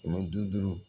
Kɛmɛ duuru